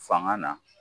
Fanga na